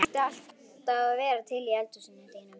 Það sem ætti alltaf að vera til í eldhúsinu þínu!